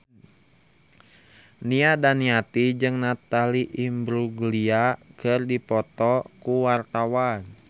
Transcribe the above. Nia Daniati jeung Natalie Imbruglia keur dipoto ku wartawan